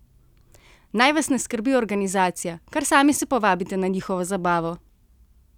Naj vas ne skrbi organizacija, kar sami se povabite na njihovo zabavo!